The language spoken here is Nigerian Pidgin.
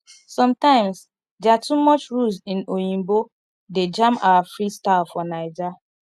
sometimes their too much rules in oyinbo dey jam our freestyle for naija